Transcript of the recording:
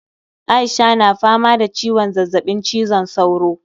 Aisha na fama da ciwon zazzabin cizon sauro